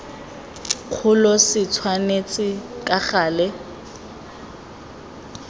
kgolo se tshwanetse ka gale